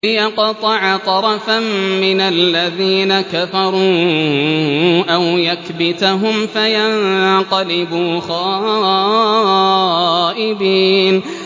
لِيَقْطَعَ طَرَفًا مِّنَ الَّذِينَ كَفَرُوا أَوْ يَكْبِتَهُمْ فَيَنقَلِبُوا خَائِبِينَ